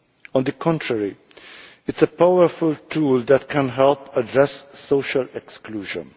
On the contrary, it is a powerful tool that can help address social exclusion.